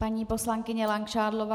Paní poslankyně Langšádlová?